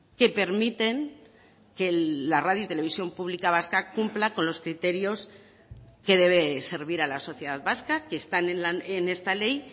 que permiten que la radio y televisión pública vasca cumpla con los criterios que debe servir a la sociedad vasca que están en esta ley